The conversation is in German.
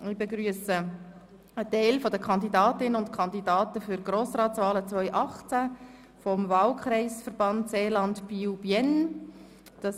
Ich begrüsse einen Teil der Kandidatinnen und Kandidaten für die Grossratswahlen 2018 des Wahlkreisverbands Seeland-Biel/Bienne.